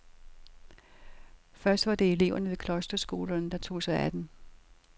Først var det eleverne ved klosterskolerne, der tog sig af den.